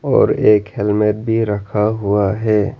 और एक हेलमेट भी रखा हुआ है।